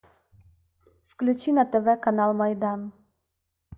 включи на тв канал майдан